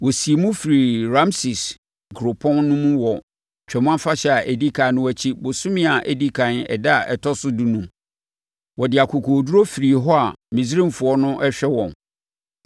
Wɔsiim firii Rameses kuropɔn no mu wɔ Twam Afahyɛ a ɛdi ɛkan no akyi bosome a ɛdi ɛkan ɛda a ɛtɔ so dunum. Wɔde akokoɔduru firii hɔ a Misraimfoɔ no rehwɛ wɔn.